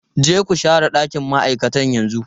Je ku share ɗakin ma'aikata yanzu!